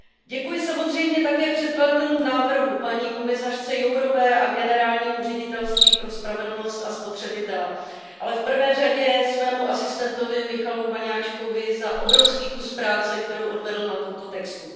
Děkuji samozřejmě také předkladatelům návrhu, paní komisařce Jourové a generálnímu ředitelství pro spravedlnost a spotřebitele, ale v prvé řadě svému asistentovi Michalu Vaňáčkovi za obrovský kus práce, kterou odvedl na tomto textu.